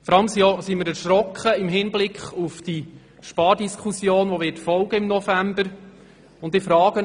Vor allem sind wir erschrocken im Hinblick auf die Spardiskussion, die im November folgen wird.